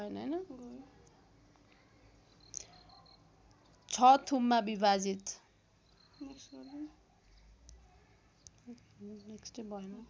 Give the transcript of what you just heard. ६ थुममा विभाजित